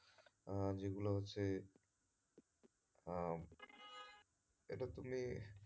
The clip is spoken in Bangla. আহ যেগুলো হচ্ছে আহ এটা তুমি,